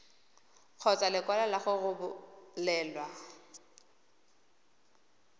kgotsa lekwalo la go rebolelwa